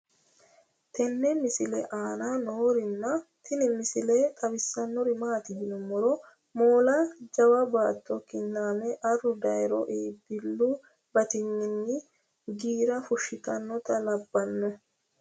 tenne misile aana noorina tini misile xawissannori maati yinummoro moolla jawa baatto kinaamme arru dayiiro iibbilu battinyinni giira fushittannotta labbanno